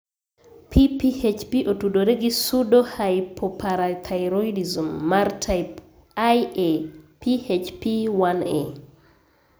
PPHP otudore gi pseudohypoparathyroidism mar type Ia (PHP 1a).